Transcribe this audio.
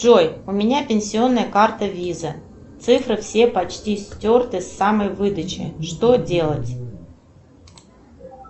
джой у меня пенсионная карта виза цифры все почти стерты с самой выдачи что делать